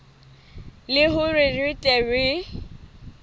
le hore re tle re